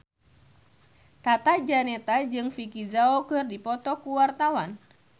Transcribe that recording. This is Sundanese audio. Tata Janeta jeung Vicki Zao keur dipoto ku wartawan